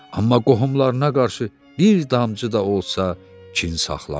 Amma qohumlarına qarşı bir damcı da olsa kin saxlamırdı.